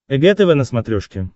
эг тв на смотрешке